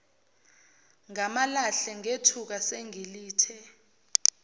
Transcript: ngamalahle ngethuka sengilithe